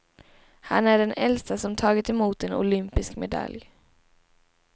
Han är den äldste som tagit emot en olympisk medalj.